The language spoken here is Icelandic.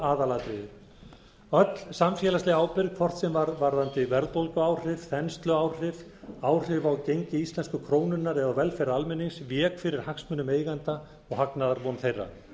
aðalatriðið öll samfélagsleg ábyrgð hvort sem var varðandi verðbólguáhrif þensluáhrif áhrif á gengi íslensku krónunnar eða á velferð almennings vék fyrir hagsmunum eigenda og hagnaðarvon þeirra